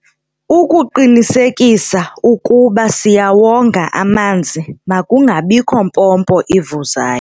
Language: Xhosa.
Ukuqinisekisa ukuba siyawonga amanzi makungabikho mpompo ivuzayo.